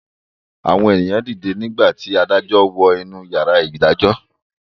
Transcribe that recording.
Àwọn èyàn dìde nígbà tí adájọ́ wọ inú yàrá ìgbẹ́jọ́.